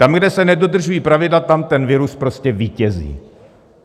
Tam, kde se nedodržují pravidla, tam ten virus prostě vítězí.